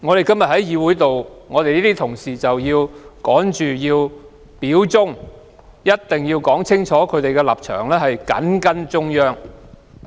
今天有些同事也要表忠，清楚說明他們的立場是緊跟中央。